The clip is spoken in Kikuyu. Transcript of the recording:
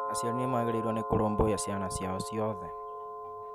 aciari ni magĩrĩĩrwo nĩ kũrũmbũiya ciana ciao ciothe.